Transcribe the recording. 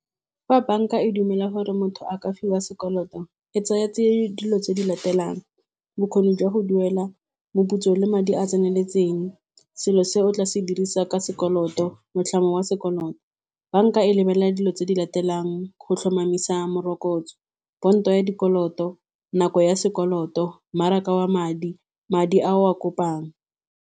Fa banka e dumela gore motho a ka fiwa sekoloto e tsaya tsie dilo tse di latelang bokgoni jwa go duela, moputso le madi a a tseneletseng, selo se o tla se dirisa ka sekoloto motlhang wa sekoloto. Banka e lebelela dilo tse di latelang go tlhomamisa morokotso, ponto ya dikoloto, nako ya sekoloto, mmaraka wa madi, madi a o a kopang.